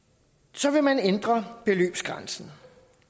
så vil man ændre beløbsgrænsen